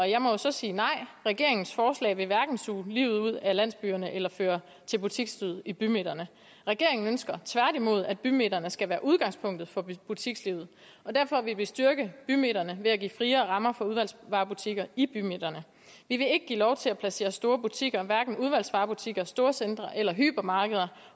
jeg må jo så sige nej regeringens forslag vil hverken suge livet ud af landsbyerne eller føre til butiksdød i bymidterne regeringen ønsker tværtimod at bymidterne skal være udgangspunktet for butikslivet og derfor vil vi styrke bymidterne ved at give friere rammer for udvalgsvarebutikker i bymidterne vi vil ikke give lov til at placere store butikker hverken udvalgsvarebutikker storcentre eller hypermarkeder